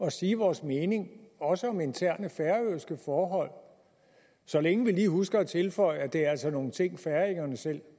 at sige vores mening også om interne færøske forhold så længe vi lige husker at tilføje at det altså er nogle ting færingerne selv